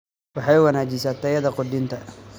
Waxay wanaajisaa tayada quudinta.